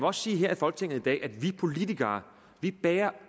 også sige her i folketinget i dag at vi politikere